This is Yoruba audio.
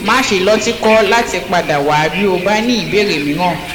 má ṣe lọtìkọ láti padà wá bí o bá ní ìbéèrè mìíràn